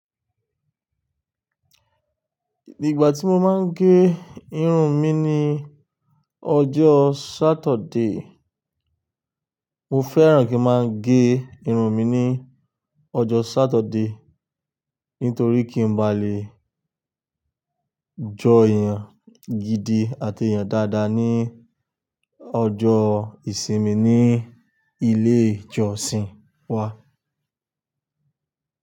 Ìgbà tí mo máa ń gé irun mi ni ọjọ́ Saturday. Mo fẹ́ràn kí n máa gé irun mi ní ọjọ́ Saturday, nítorí kí n báa le jọ èèyàn gidi àti èèyàn dáadáa ní ọjọ́ ìsinmi ní ilé ìjọsìn wa.